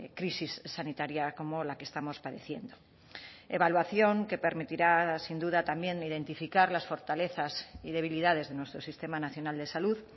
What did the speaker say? crisis sanitaria como la que estamos padeciendo evaluación que permitirá sin duda también identificar las fortalezas y debilidades de nuestro sistema nacional de salud